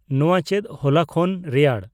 ᱱᱚᱣᱟ ᱪᱮᱫ ᱦᱚᱞᱟ ᱠᱷᱚᱱ ᱨᱮᱭᱟᱲ